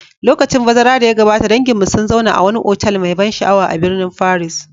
Lokacin bazara da ya gabata, danginmu sun zauna a wani otal mai ban sha'awa a birnin Paris.